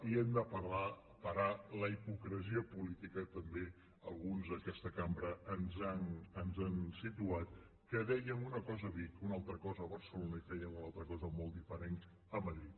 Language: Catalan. i hem de parar la hipocresia política també que alguns d’aquesta cambra ens han situat que dèiem una cosa a vic una altra cosa a barcelona i fèiem una altra cosa molt diferent a madrid